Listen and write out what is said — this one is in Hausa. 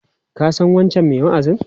Ka san wancan mai wa'azin?